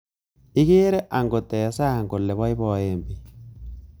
Ikere angot eng sang kole boiboen bik